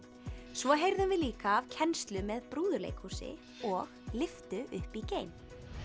svo heyrðum við líka af kennslu með brúðuleikhúsi og lyftu upp í geim